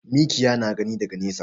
Mikiya na gani daga nesa.